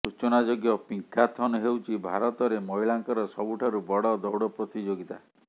ସୂଚନାଯୋଗ୍ୟ ପିଙ୍କାଥନ୍ ହେଉଛି ଭାରତରେ ମହିଳାଙ୍କର ସବୁଠାରୁ ବଡ଼ ଦୌଡ଼ ପ୍ରତିଯୋଗିତା